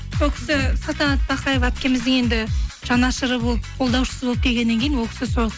ол кісі салтанат бақаева әпкеміздің енді жанашыры болып қолдаушысы болып келгеннен кейін ол кісі сол